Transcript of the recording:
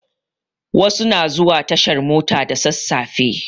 Wasu na zuwa tashar mota da sasafe